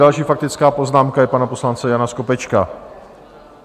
Další faktická poznámka je pana poslance Jana Skopečka.